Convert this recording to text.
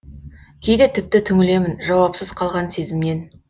кейде тіпті түңілемін жауапсыз қалған сезімнен